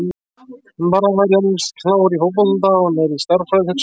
Bara að hann væri eins klár í fótbolta og hann er í stærðfræði hugsaði